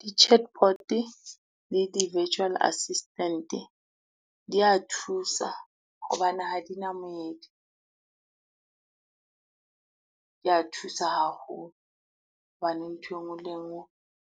Di-chatbot le di-virtual assistant di a thusa hobane ha di na moedi. Di a thusa haholo hobane nthwe ngwe le e ngwe